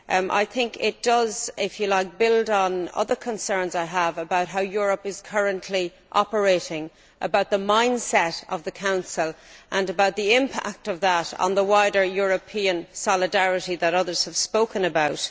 I think it does, if you like, build on other concerns which I have about how Europe is currently operating, the mindset of the Council and the impact of that on the wider European solidarity that others have spoken about.